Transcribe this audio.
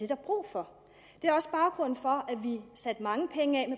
der brug for det er også baggrunden for at vi satte mange penge af